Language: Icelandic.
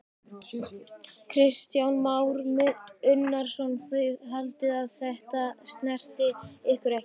Kristján Már Unnarsson: Þið haldið að þetta snerti ykkur ekki?